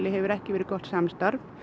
hefur ekki verið gott samstarf